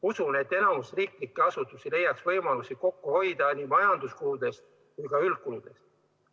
Usun, et enamik riigiasutusi leiaks võimalusi kokku hoida nii majanduskuludes kui ka üldkuludes.